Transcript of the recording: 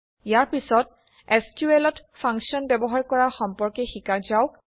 ইয়াৰ পিছত SQLত ফাংশ্যন ব্যৱহাৰ কৰা সম্পৰ্কে শিকা যাওক